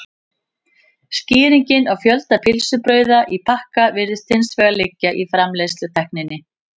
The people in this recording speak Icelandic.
skýringin á fjölda pylsubrauða í pakka virðist hins vegar liggja í framleiðslutækninni